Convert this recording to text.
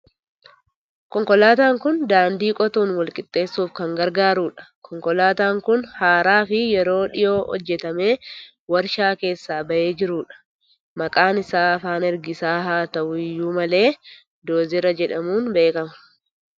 Konkolaataan kun daandii qotuun wal qixxeessuuf kan gargaarudha. Konkolaataan kun haaraa fi yeroo dhiyoo hojjetamee waarshaa keessaa bahee jirudha. Maqaan isaa afaan ergisaa haa ta'u iyyuu malee Doozera jedhamuun beekama.